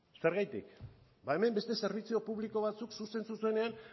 zergatik hemen beste zerbitzu publiko batzuk zuzen zuzenean